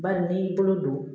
Bari n'i y'i bolo don